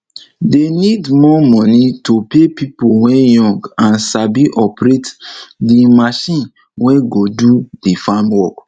dey need more moni to pay pipo wey young and sabi operate de marchin wey go do de farm work